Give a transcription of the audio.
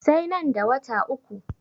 Sai nan da wata uku.